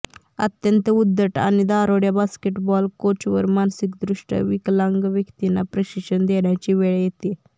अत्यंत उद्धट आणि दारुड्या बास्केटबॉल कोचवर मानसिकदृष्ट्या विकलांग व्यक्तींना प्रशिक्षण देण्याची वेळ येते